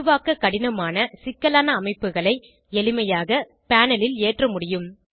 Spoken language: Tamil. உருவாக்க கடினமான சிக்கலான அமைப்புகளை எளிமையாக பேனல் ல் ஏற்ற முடியும்